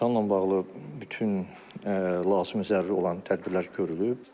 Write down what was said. İmtahanla bağlı bütün lazımi zəruri olan tədbirlər görülüb.